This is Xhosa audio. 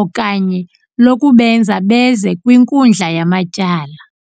okanye lokubenza beze kwinkundla yamatyala.